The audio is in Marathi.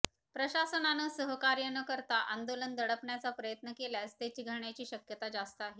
प्रशासनानं सहकार्य न करता आंदोलन दडपण्याचा प्रयत्न केल्यास ते चिघळण्याची शक्यता जास्त आहे